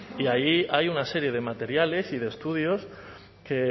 y ahí hay una serie de materiales y de estudios que